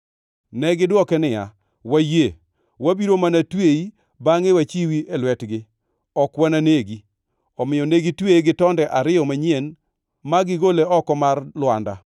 Negidwoke niya, “Wayie. Wabiro mana tweyi bangʼe wachiwi e lwetgi. Ok wananegi.” Omiyo ne gitweye gi tonde ariyo manyien ma gigole oko mar lwanda.